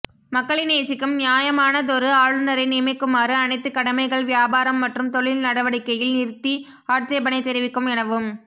மக்களை நேசிக்கும் நியாயமானதொரு ஆளுநரை நியமிக்குமாறு அனைத்து கடமைகள் வியாபாரம் மற்றும் தொழில் நடவடிக்கையில் நிறுத்தி ஆட்சேபனை தெரிவிக்கும் எனவும்